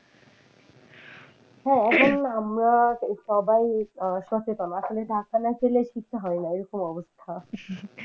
হ্যাঁ এখন আমরা সবাই সচেতন আসলে ধাক্কা না খেলে শিক্ষা হয়না এরকম অবস্থা ।